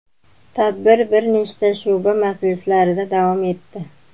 Tadbir bir necha shu’ba majlislarida davom etdi.